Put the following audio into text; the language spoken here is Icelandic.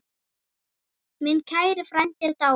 Minn kæri frændi er dáinn.